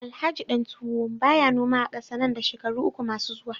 Alhaji Dantuwo baya noma a kasa nan da shekaru uku masu zuwa